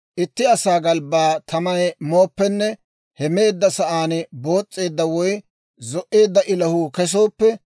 «Itti asaa galbbaa tamay mooppenne he meedda sa'aan boos's'eedda woy zo"eedda ilahuu kesooppe,